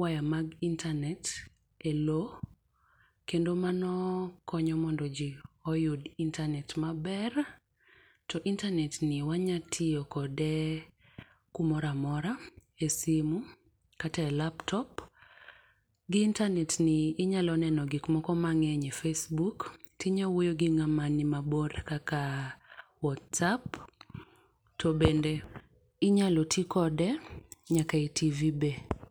waya mag internet e loo kendo mano konyo mondo ji oyud internet ma ber. To internet ni wa nya tiyo kode ku moro amora e simo kata e laptop. Gi internet ni inyalo neno gik moko ma ngeny e facebook to inya wuoyo gi ng'awa ni ma bor kaka whatsapp to inyalo ti kode nyaka e TV be.